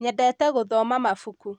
nyendete gũthoma mabuku